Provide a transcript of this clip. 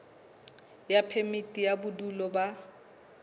ya phemiti ya bodulo ba